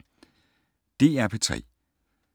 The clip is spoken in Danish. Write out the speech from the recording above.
DR P3